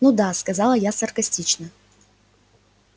ну да сказала я саркастично